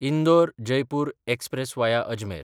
इंदोर–जयपूर express वाया Ajmer